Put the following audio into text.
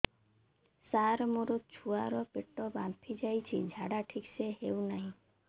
ସାର ମୋ ଛୁଆ ର ପେଟ ଫାମ୍ପି ଯାଉଛି ଝାଡା ଠିକ ସେ ହେଉନାହିଁ